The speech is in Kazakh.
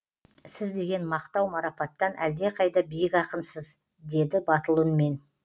сіз деген мақтау марапаттан әлдеқайда биік ақынсыз деді батыл үнмен